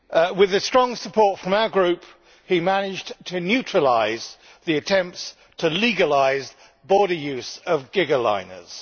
With strong support from our group he managed to neutralise the attempts to legalise cross-border use of gigaliners.